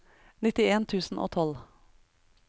nittien tusen og tolv